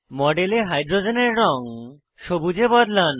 মডেলে হাইড্রোজেনের রঙ সবুজ এ বদলান